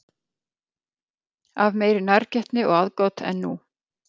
Af meiri nærgætni og aðgát en nú?